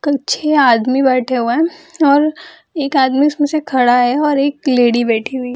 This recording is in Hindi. कुल छे आदमी बैठे हुए हैं और एक आदमी उसमें से खड़ा है और एक लेडी बैठी हुई --